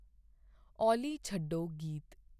ਓਲੀ ਛੱਡੋ ਗੀਤ